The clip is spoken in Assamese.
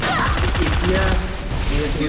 এতিয়া যিহেতু